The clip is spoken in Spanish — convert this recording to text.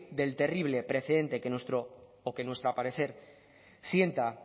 del terrible precedente que nuestro o que nuestra parecer sienta